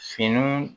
Fini